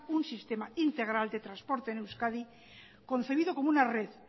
un sistema integral de transporte en euskadi concebido como una red